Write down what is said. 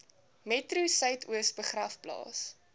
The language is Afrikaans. metro suidoos begraafplaas